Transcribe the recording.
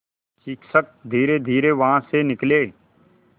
शिक्षक धीरेधीरे वहाँ से निकले